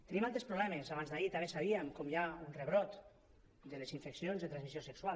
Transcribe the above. tenim altres problemes abans d’ahir també sabíem com hi ha un rebrot de les infeccions de transmissió sexual